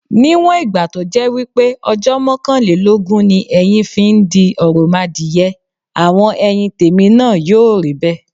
Níwọ̀n ìgbà to jẹ́ wípé ojó mókànlélógún ni eyin fi n di òròmadìye, àwon eyin tèmi náa yíò ríbè